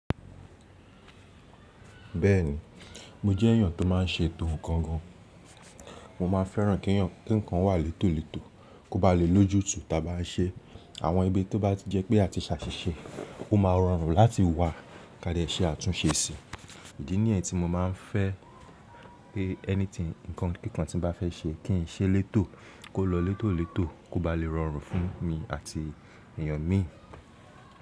Bẹ́ẹ̀ni, mo jẹ́ èèyàn tó má ń ṣe ètò kankan. Mo máa fẹ́ràn kí nǹkan wà létòletò, kó ba lè lójútu ta bá ń ṣe. Àwọn ibi tó bá ti jẹ́ pé a ti sàṣìṣe, ó máa rọrùn láti wà ká lè ṣe àtúnsẹ síi. Idiì ni yen tí mo máa ń fẹ́ pé anything, nǹkan tí bá fẹ́ ṣe kí ń ṣe létò, kó lọ létòletò, kó ba lè rọrùn fún mi àti èèyàn mi.